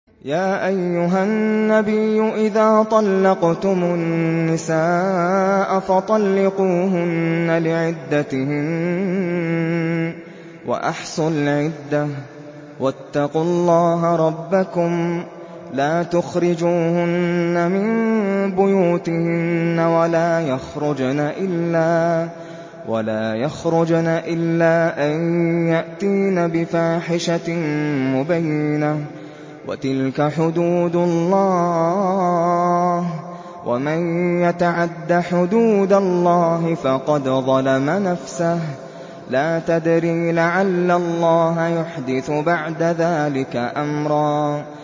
يَا أَيُّهَا النَّبِيُّ إِذَا طَلَّقْتُمُ النِّسَاءَ فَطَلِّقُوهُنَّ لِعِدَّتِهِنَّ وَأَحْصُوا الْعِدَّةَ ۖ وَاتَّقُوا اللَّهَ رَبَّكُمْ ۖ لَا تُخْرِجُوهُنَّ مِن بُيُوتِهِنَّ وَلَا يَخْرُجْنَ إِلَّا أَن يَأْتِينَ بِفَاحِشَةٍ مُّبَيِّنَةٍ ۚ وَتِلْكَ حُدُودُ اللَّهِ ۚ وَمَن يَتَعَدَّ حُدُودَ اللَّهِ فَقَدْ ظَلَمَ نَفْسَهُ ۚ لَا تَدْرِي لَعَلَّ اللَّهَ يُحْدِثُ بَعْدَ ذَٰلِكَ أَمْرًا